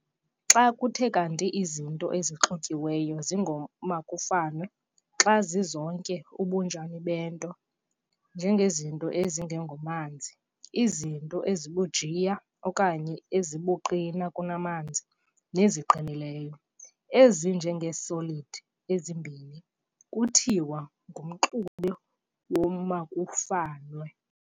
Xa kuthe kanti izinto ezixutyiweyo zingoomakufanwe xa zizonke ubunjani bento, njengezinto ezingengomanzi, izinto ezibujiya okanye ezibuqina kunamanzi, neziqinileyo, ezinje ngee-solid ezimbini, kuthiwa ngumxube womakufanwe".